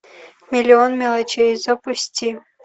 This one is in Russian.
миллион мелочей запусти